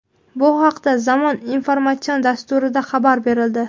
Bu haqda "Zamon" informatsion dasturida xabar berildi.